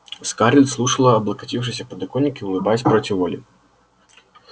скарлетт слушала облокотившись о подоконник и улыбаясь против воли